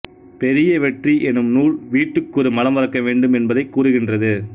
பெரிய வெற்றி எனும் நூல் வீட்டுக்கொரு மரம் வளர்க்க வேண்டும் என்பதைக் கூறுகின்றது